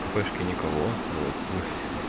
в кафешке никого вот мы